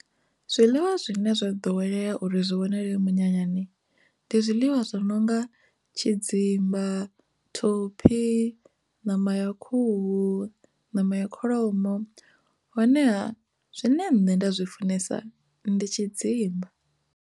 Zwiḽiwa zwine zwo ḓowelea uri zwi wanale minyanyani ndi zwiḽiwa zwi no nga tshidzimba, thophi, ṋama ya khuhu, ṋama ya kholomo honeha zwine nṋe nda zwi funesa ndi tshidzimba.